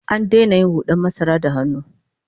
An daina yin hud'an masara da hannu